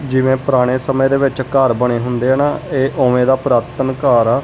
ਜਿਵੇਂ ਪੁਰਾਣੇ ਸਮੇਂ ਦੇ ਵਿੱਚ ਘਰ ਬਣੇ ਹੁੰਦੇ ਆ ਨਾ ਇਹ ਉਵੇਂ ਦਾ ਪੁਰਾਤਨ ਘਰ ਆ।